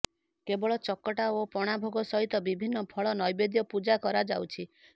କେବଳ ଚକଟା ଓ ପଣା ଭୋଗ ସହିତ ବିଭିନ୍ନ ଫଳ ନୈବେଦ୍ୟ ପୁଜା କରଯାଉଛି